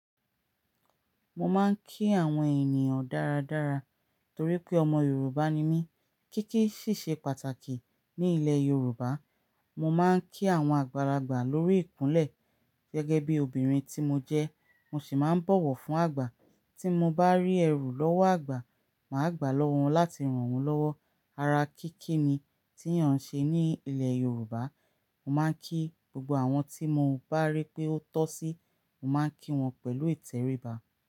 Mo máa ń kí àwọn ènìyàn dáradára torí pé ọmọ Yorùbá ni mí. Kíkí sì ṣe pàtàkì ní ilẹ̀ Yorùbá. Mo máa ń kí àwọn àgbàlagbà lórí ìkúnlẹ̀. Gẹ́gẹ́ bí obìnrin tí mo jẹ́, mo sì máa ń bọ̀wọ̀ fún àgbà. Tí mo bá rí ẹrú lọ́wọ́ àgbà, màá gbà á lọ́wọ́ wọn láti ràn wọ́n lọ́wọ́. Ara kíkí ni tí yàn ṣe ní ilẹ̀ Yorùbá. Mo máa ń kí gbogbo àwọn tí mo bá rí pé ó tọ́ sí, mo máa ń kí wọn pẹ̀lú ìtẹríba.